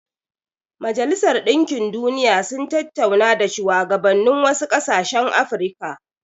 Majalisar Dinkin Duniya sun tattauna da shuwagabannin wasu ƙasashen Afirka.